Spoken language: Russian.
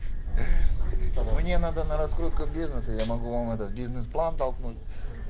мне надо на раскрутку бизнеса я могу вам этот бизнес план толкнуть